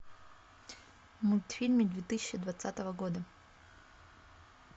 мультфильмы две тысячи двадцатого года